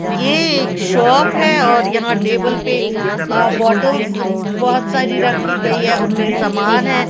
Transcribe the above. ये एक शॉप है और यहां टेबल पे अह बॉटल्स बहुत सारी रखी गई है उनमें समान है।